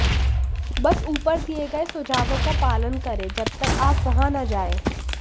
बस ऊपर दिए गए सुझावों का पालन करें जब तक आप वहां न जाएं